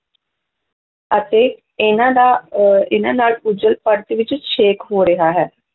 ਅਤੇ ਇਹਨਾਂ ਦਾ ਔਰ ਇਹਨਾਂ ਨਾਲ ਓਜੋਨ ਪਰਤ ਵਿੱਚ ਛੇਕ ਹੋ ਰਿਹਾ ਹੈ।